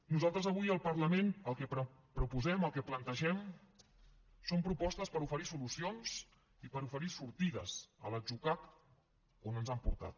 nosaltres avui al parlament el que proposem el que plantegem són propostes per oferir solucions i per oferir sortides a l’atzucac on ens han portat